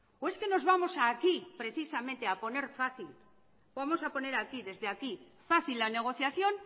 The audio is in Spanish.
o es que nos vamos aquí precisamente a poner fácil vamos a poner aquí desde aquí fácil la negociación